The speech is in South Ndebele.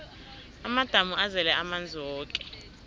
amadamu azele amanzi woke